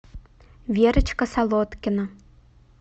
верочка солодкина